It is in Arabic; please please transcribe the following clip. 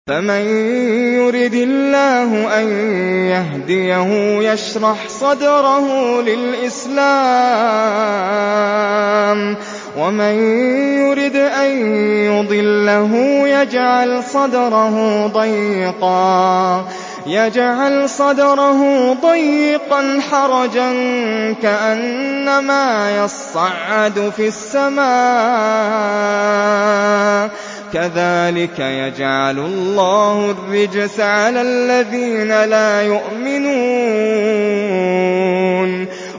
فَمَن يُرِدِ اللَّهُ أَن يَهْدِيَهُ يَشْرَحْ صَدْرَهُ لِلْإِسْلَامِ ۖ وَمَن يُرِدْ أَن يُضِلَّهُ يَجْعَلْ صَدْرَهُ ضَيِّقًا حَرَجًا كَأَنَّمَا يَصَّعَّدُ فِي السَّمَاءِ ۚ كَذَٰلِكَ يَجْعَلُ اللَّهُ الرِّجْسَ عَلَى الَّذِينَ لَا يُؤْمِنُونَ